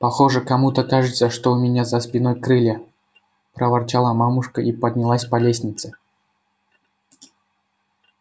похоже кому-то кажется что у меня за спиной крылья проворчала мамушка и поднялась по лестнице